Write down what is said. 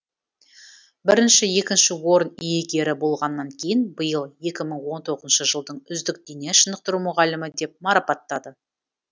бірінші екінші орын иегері болғаннан кейін биыл екі мың он тоғызыншы жылдың үздік дене шынықтыру мұғалімі деп марапаттады